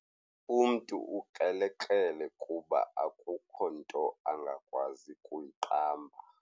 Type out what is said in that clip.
Umntu ukrelekrele kuba akukho nto angakwazi kuyiqamba.